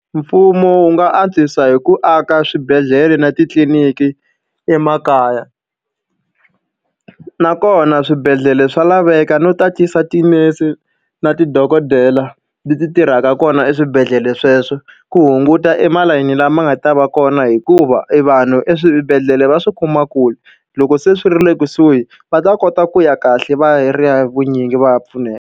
Mfumo wu nga antswisa hi ku aka swibedhlele na titliliniki emakaya. Nakona swibedhlele swa laveka no tatisa tinese na madokodela leti tirhaka kona eswibedhlele sweswo, ku hunguta e tilayini lama nga ta va kona. Hikuva e vanhu eswibedhlele va swi kuma kule, loko se swi ri le kusuhi va ta kota ku ya kahle va hi vunyingi va ya pfuneka.